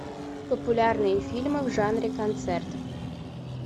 популярные фильмы в жанре концерт